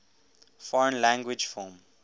foreign language film